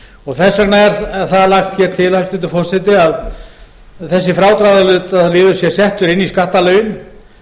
og þess vegna er það lagt hér til hæstvirtur forseti að þessi frádráttarliður sé settur inn í skattalögin